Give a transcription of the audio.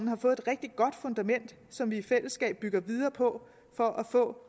har fået et rigtig godt fundament som vi i fællesskab bygger videre på for at få